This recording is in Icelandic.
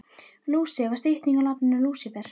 Lúsi var stytting á nafninu Lúsífer.